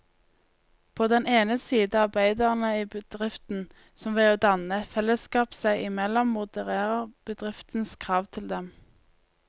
På den ene side arbeiderne i bedriften, som ved å danne et fellesskap seg imellom modererer bedriftens krav til dem.